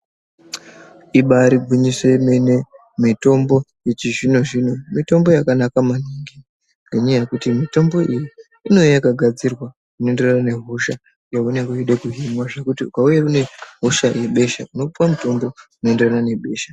Ibari gwinyiso yemene mitombo yechizvino-zvino mitombo yakanaka maningi. Ngenyaya yekuti mitombo iyi inouya yakagadzirwa zvinoenderana nehosha yaunenge uchida kuhinwa. Zvekuti ukauya unehosha yebesha unopiva mutombo unoenderana nebesha.